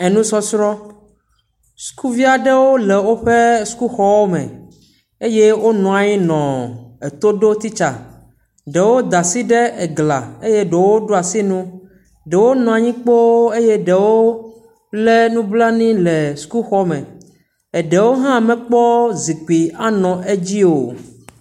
Enusɔsrɔ̃. sukuvi aɖewo le woƒe sukuxɔme eye wonɔ anyi nɔ eto ɖo titsa. Ɖewo da asi ɖe gla eye ɖewo ɖo asi nu. Ɖewo nɔa yi kpo eye ɖewo le nublanui le sukuxɔme. Eɖewo hã mekpɔ zi kpui anɔ anyi ɖe edzi o.